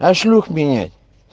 а шлюх менять